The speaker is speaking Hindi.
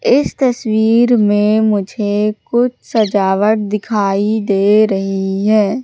इस तस्वीर में मुझे कुछ सजावट दिखाई दे रही है।